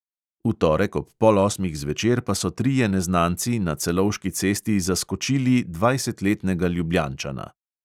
V torek ob pol osmih zvečer pa so trije neznanci na celovški cesti zaskočili dvajsetletnega ljubljančana.